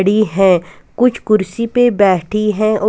खड़ी है कुछ कुर्सी पे बैठी है और--